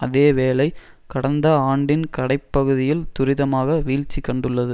அதே வேளை கடந்த ஆண்டின் கடை பகுதியில் துரிதமாக வீழ்ச்சி கண்டுள்ளது